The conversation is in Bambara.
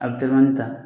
A bɛ ta